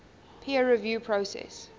peer review process